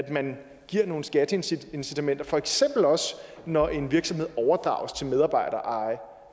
man giver nogle skatteincitamenter for eksempel også når en virksomhed overdrages til medarbejdereje